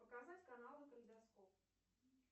показать каналы калейдоскоп